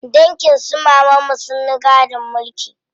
Dangin su mamanmu sun yi gadon mulki.